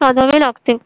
साधावे लागते.